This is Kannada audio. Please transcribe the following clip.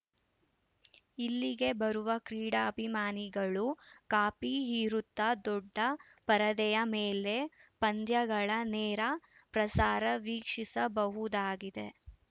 ಇಲ್ಲಿಗೆ ಬರುವ ಕ್ರೀಡಾಭಿಮಾನಿಗಳು ಕಾಫಿ ಹೀರುತ್ತಾ ದೊಡ್ಡ ಪರದೆಯ ಮೇಲೆ ಪಂದ್ಯಗಳ ನೇರ ಪ್ರಸಾರ ವೀಕ್ಷಿಸಬಹುದಾಗಿದೆ